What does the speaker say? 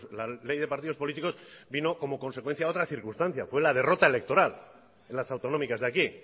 la ley de partidos políticos vino como consecuencia a otra circunstancia fue la derrota electoral en las autonómicas de aquí